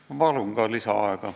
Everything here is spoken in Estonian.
Ma palun lisaaega!